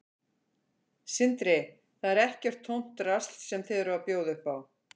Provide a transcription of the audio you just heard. Sindri: Þetta er ekkert tómt drasl sem þið eruð að bjóða upp á?